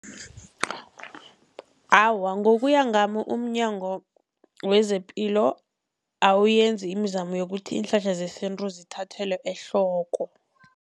Awa, ngokuya ngami umNyango wezePilo awuyenzi imizamo yokuthi iinhlahla zesintu zithathelwe ehloko.